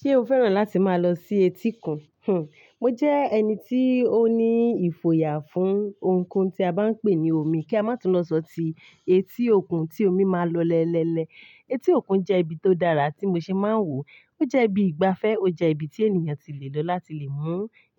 Ṣé o fẹ́ràn láti máa lọ sí etíkun? Hmm, mo jẹ́ ẹni tí ó ní ìfòyà fún ohunkóhun tí a bá ń pè ní omi, kí a má tún lọ sọ tí etí òkun tí omi máa lọ lẹ́lẹ́lẹ́. Etí òkun jẹ́ ibi tió dára tí mo ṣe máa ń wò. Ó jẹ́ ibi ìgbafẹ́, ó jẹ́ ibi tí ènìyàn ti lè lọ láti lè mú